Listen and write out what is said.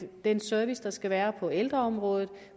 den service der skal være på ældreområdet og